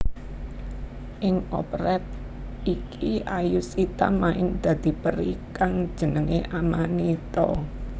Ing operet iki Ayushita main dadi peri kang jenengé Amanita